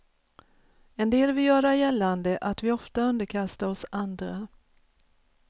En del vill göra gällande att vi ofta underkastar oss andra.